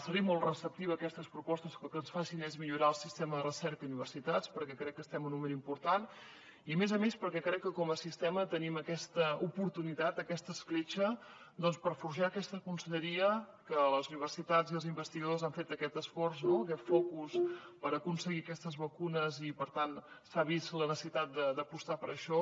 seré molt receptiva a les propostes que el que facin sigui millorar el sistema de recerca i universitats perquè crec que estem en un moment important i a més a més perquè crec que com a sistema tenim aquesta oportunitat aquesta escletxa per forjar aquesta conselleria que les universitats i els investigadors han fet aquest esforç no aquest focus per aconseguir aquestes vacunes i per tant s’ha vist la necessitat d’apostar per això